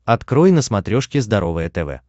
открой на смотрешке здоровое тв